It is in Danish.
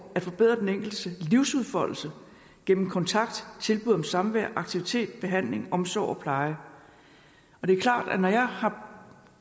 at forbedre den enkeltes livsudfoldelse gennem kontakt tilbud om samvær aktivitet behandling omsorg og pleje det er klart at man jeg har